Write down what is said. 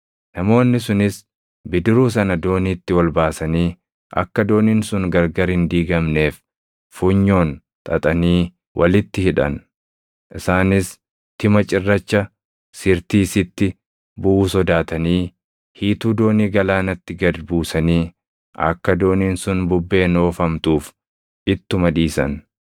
Namoonni sunis bidiruu sana dooniitti ol baasanii akka dooniin sun gargar hin diigamneef funyoon xaxanii walitti hidhan. Isaanis tima cirracha Sirtiisitti buʼuu sodaatanii hiituu doonii galaanatti gad buusanii akka dooniin sun bubbeen oofamtuuf ittuma dhiisan.